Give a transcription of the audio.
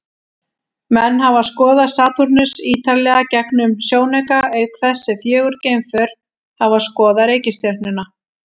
Menn hafa skoðað Satúrnus ýtarlega gegnum sjónauka, auk þess sem fjögur geimför hafa skoðað reikistjörnuna.